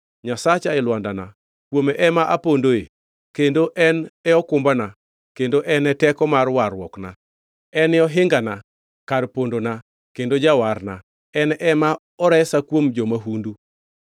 Nyasacha e lwandana, kuome ema apondoe, kendo en e okumbana kendo en e teko mar warruokna. En e ohingana, kar pondana, kendo jawarna en ema oresa kuom jo-mahundu.